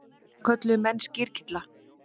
Það kölluðu menn skyrkylla.